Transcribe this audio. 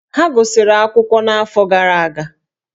Ha gụsịrị akwụkwọ n'afọ gara aga